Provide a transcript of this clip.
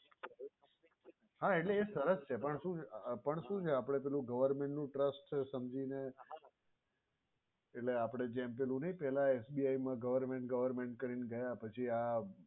સરસ છે. હા એટલે એ સરસ છે પણ શું છે આપણે પેલું government નું trust છે સમજીને એટલે આપણે જેમ તેમ પેલા SBI મા government government કરીને ગયા પછી આ